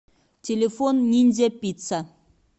телефон ниндзя пицца